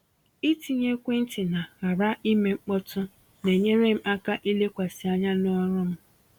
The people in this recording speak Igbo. Ịtinye ekwentị na ‘ghara ime mkpọtụ’ na-enyere m aka ilekwasị anya n’ọrụ m.